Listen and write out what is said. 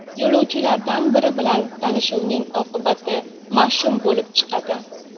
Yo‘lovchilardan biri bilan tanishuvning oqibati mash’um bo‘lib chiqadi.